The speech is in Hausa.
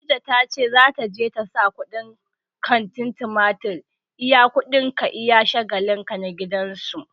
Khadija ta ce za ta je ta sa kuɗin katin mitar iya kuɗin ka iya shagalin ka na gidan su.